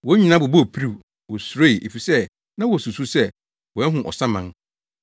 Wɔn nyinaa bobɔɔ piriw, wosuroe, efisɛ na wosusuw sɛ wɔahu ɔsaman.